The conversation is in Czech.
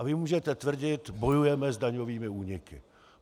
A vy můžete tvrdit: Bojujeme s daňovými úniky.